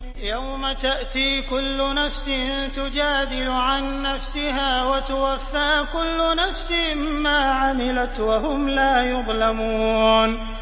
۞ يَوْمَ تَأْتِي كُلُّ نَفْسٍ تُجَادِلُ عَن نَّفْسِهَا وَتُوَفَّىٰ كُلُّ نَفْسٍ مَّا عَمِلَتْ وَهُمْ لَا يُظْلَمُونَ